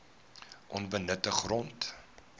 onbenutte grond